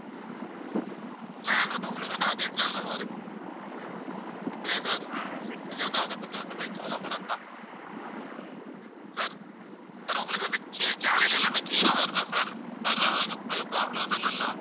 plan வந்து உங்களுக்கு வந்து அதே plan லதான் இருக்கும். சரியா sir நீங்க வந்து அதைப்பத்தி ஒண்ணுமே கவலைப்பட வேண்டாம். sir sir உங்களுக்கு வந்து ch~ channel எல்லாமே clear ஆ வருதா sir எதுவும் problem எதுவும் இல்லல்ல?